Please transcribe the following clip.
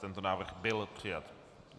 Tento návrh byl přijat.